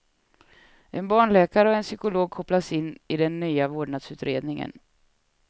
En barnläkare och en psykolog kopplas in i den nya vårdnadsutredningen.